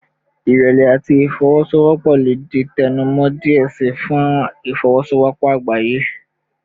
Irẹlẹ ati ifowosowopo le di tẹnumọ diẹ sii fun ifowosowopo agbaye